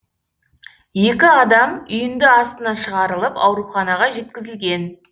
екі адам үйінді астынан шығарылып ауруханаға жеткізілген